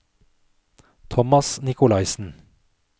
Thomas Nikolaisen